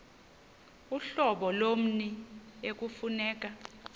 uhlobo lommi ekufuneka